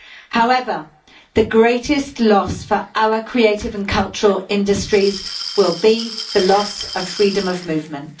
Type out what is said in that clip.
However, the greatest loss for our creative and cultural industries will be the loss of freedom of movement.